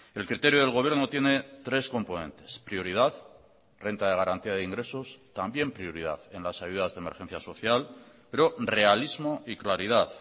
el criterio del gobierno tiene tres componentes prioridad renta de garantía de ingresos también prioridad en las ayudas de emergencia asocial pero realismo y claridad